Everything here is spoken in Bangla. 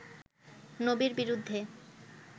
নবীর বিরুদ্ধে